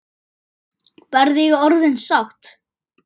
Verð ég orðin sátt?